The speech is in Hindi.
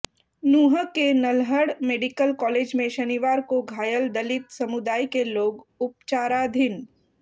नूंह के नल्हड मेडिकल कालेज में शनिवार को घायल दलित समुदाय के लोग उपचाराधीन